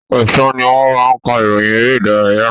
Ọ̀sán ni wọ́n máa ka ìròyìn eré ìdárayá.